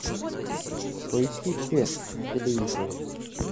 поищи че на телевизоре